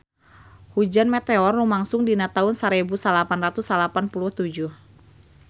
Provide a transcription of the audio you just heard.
Hujan meteor lumangsung dina taun sarebu salapan ratus salapan puluh tujuh